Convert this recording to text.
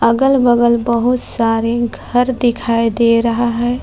अगल बगल बहुत सारे घर दिखाई दे रहे हैं।